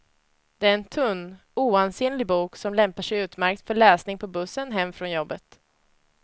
Det är en tunn, oansenlig bok som lämpar sig utmärkt för läsning på bussen hem från jobbet.